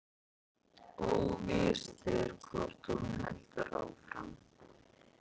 Óvíst er hvort hún heldur áfram